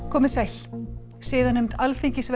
komið sæl siðanefnd Alþingis